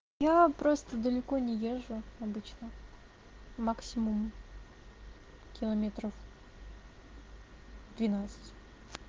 я просто далеко не езжу обычно максимум километров двенадцать